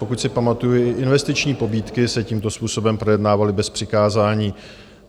Pokud si pamatuji, investiční pobídky se tímto způsobem projednávaly bez přikázání.